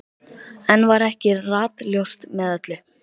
Enn var ekki ratljóst með öllu.